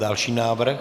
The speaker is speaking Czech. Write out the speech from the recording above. Další návrh?